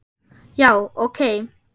Já, ok.